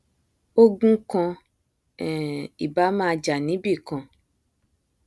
ogun kan um ì báà máa jà níbìkan